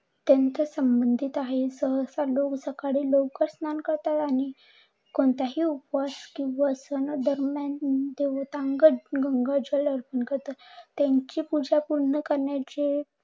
त्यांच्या संबंधित आहे. सहसा लोक सकाळी स्नान करतात आणि कोणत्याही उपवास किंव्हा सना दरम्यान अंग जल अर्पण करतात. त्यांची पूजा पूर्ण करण्याची